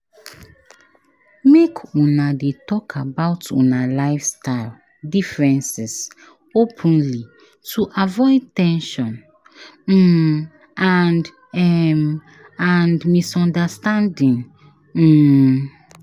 Make una dey talk about una lifestyle differences openly to avoid ten sion um and um and misunderstanding. um